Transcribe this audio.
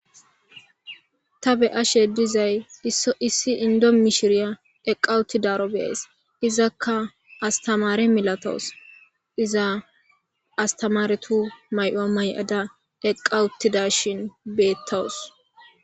Ta be'ashe dizay isso issi Indo mishiriya eqa utidaro be'ays izaka astamare milatawus iza astamaretu may'uwa may'ada eqawtidashin betawus.